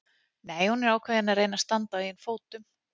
Nei, hún er ákveðin í því að reyna að standa á eigin fótum.